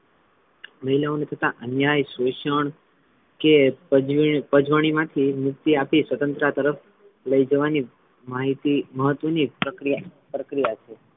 મહિલાઓ પર થતા અન્યાય શોષણ કે પજવણી પજ્વણીમાં થી મુક્તિ આપી સ્વતંત્રતા તરફ લઇ જવાની માહિતી મહત્વની પ્રક્રિયા~ પ્રકિયા છે.